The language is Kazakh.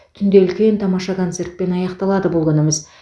түнде үлкен тамаша концертпен аяқталады бұл күніміз